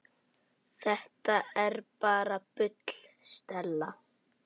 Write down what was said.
Þetta er bara bull, Stella.